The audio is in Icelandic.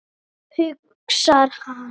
hugsar hann.